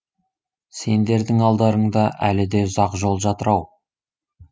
сендердің алдарыңда әлі де ұзақ жол жатыр ау